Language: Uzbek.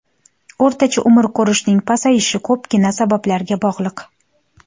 O‘rtacha umr ko‘rishning pasayishi ko‘pgina sabablarga bog‘liq.